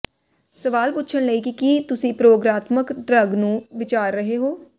ਸਵਾਲ ਪੁੱਛਣ ਲਈ ਕਿ ਕੀ ਤੁਸੀਂ ਪ੍ਰਯੋਗਾਤਮਕ ਡਰੱਗ ਨੂੰ ਵਿਚਾਰ ਰਹੇ ਹੋ